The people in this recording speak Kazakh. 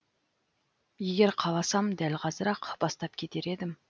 егер қаласам дәл қазір ақ бастап кетер едім